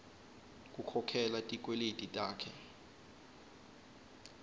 kukhokhela tikweleti takhe